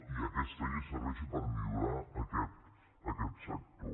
i aquesta llei serveixi per millorar aquest sector